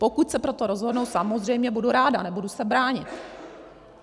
Pokud se pro to rozhodnou, samozřejmě budu ráda, nebudu se bránit.